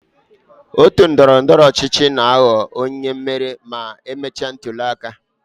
Otu ndọrọ ndọrọ ọchịchị na-aghọ onye mmeri ma e mechaa ntuli aka.